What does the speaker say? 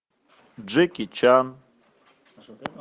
джеки чан